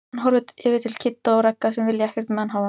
Hann horfir yfir til Kidda og Ragga sem vilja ekkert með hann hafa.